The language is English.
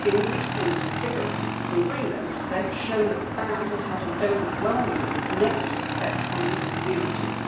Recent figures from Greenland have shown that the ban has had an overwhelmingly negative effect on those communities.